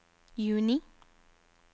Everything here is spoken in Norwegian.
juni